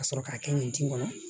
Ka sɔrɔ k'a kɛ nin tin kɔnɔ